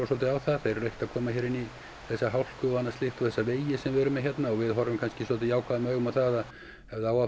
á það þeir eru ekkert koma inn í þessa hálku og þessa vegi sem við erum með hérna við horfum kannski jákvæðum augum á það að